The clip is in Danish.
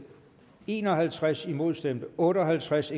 en og halvtreds imod stemte otte og halvtreds